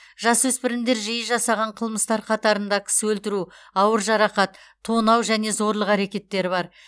жасөспірімдер жиі жасаған қылмыстар қатарында кісі өлтіру ауыр жарақат тонау және зорлық әрекеттері бар